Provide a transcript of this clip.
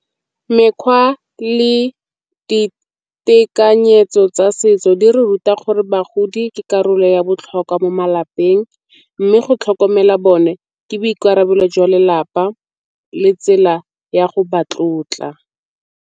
Mekgwa le ditekanyetso tsa setso di re ruta gore bagodi ke karolo ya botlhokwa mo malapeng, mme go tlhokomela bone ke boikarabelo jwa lelapa le tsela ya go ba tlotla.